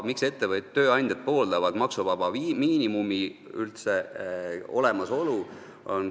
Miks tööandjad pooldavad üldse maksuvaba miinimumi olemasolu?